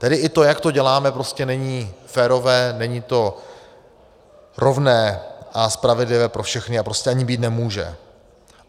Tedy i to, jak to děláme, prostě není férové, není to rovné a spravedlivé pro všechny a prostě ani být nemůže.